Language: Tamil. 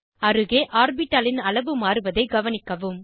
அருகே ஆர்பிட்டாலின் அளவு மாறுவதை கவனிக்கவும்